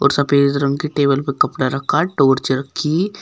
और सफेद रंग के टेबल पर कपड़ा रखा है टॉर्च रखी--